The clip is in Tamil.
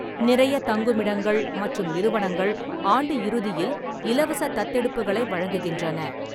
நிறைய தங்குமிடங்கள் மற்றும் நிறுவனங்கள் ஆண்டு இறுதியில் இலவச தத்தெடுப்புகளை வழங்குகின்றன.